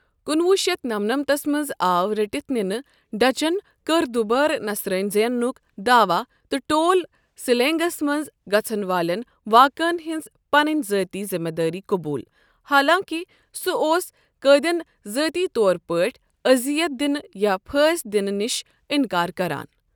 کُنوُہ شتھ نمنمتھس منٛز آو رٔٹتھ نِنہٕ، ڈچن کٔر دُبارٕ نصرٲنۍ زینُک داواہ تہٕ ٹول سلینگس منٛز گژھن والٮ۪ن واقعن ہنٛز پنٕنۍ ذٲتی ذمہٕ دٲری قبول، حالانکہِ سہ اوس قٲدٮ۪ن ذٲتی طور پٲٹھۍ أذیت دِنہٕ یا پھٲنٛسۍ دِنہٕ نِش انکار کران۔